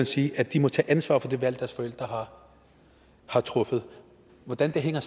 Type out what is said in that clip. sige at de må tage ansvar for det valg deres forældre har truffet hvordan hænger